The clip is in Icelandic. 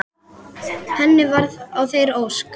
Henni varð að þeirri ósk.